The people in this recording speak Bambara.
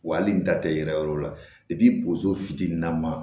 Wa hali n ta tɛ yɛrɛ yɔrɔ la fitinin nama